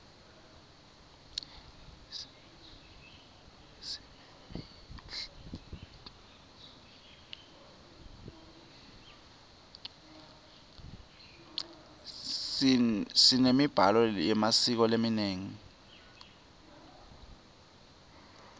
simemiblalo memasiko lamanyeni